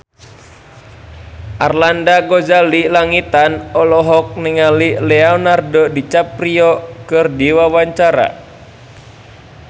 Arlanda Ghazali Langitan olohok ningali Leonardo DiCaprio keur diwawancara